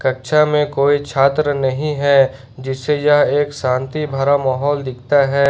कक्षा में कोई छात्र नहीं है जिससे यह एक शांति भरा माहौल दिखता है।